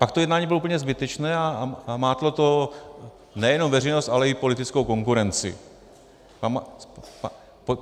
Pak to jednání bylo úplně zbytečné a mátlo to nejenom veřejnost, ale i politickou konkurenci.